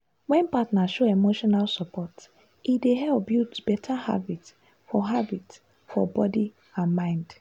wen partner show emotional support e dey help build better habit for habit for body and mind.